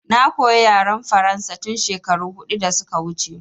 Na koya yaren faransa tun shekaru huɗu da suka wuce